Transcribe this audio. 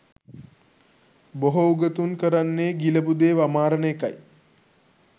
බොහෝ උගතුන් කරන්නේ ගිලපු දේ වමාරන එකයි